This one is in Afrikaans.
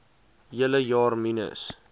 hele jaar minus